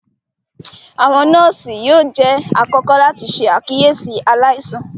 Awọn nọọsi yóò jẹ àkọ́kọ́ láti ṣe àkíyèsí aláìsàn